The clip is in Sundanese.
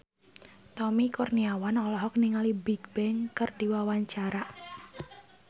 Tommy Kurniawan olohok ningali Bigbang keur diwawancara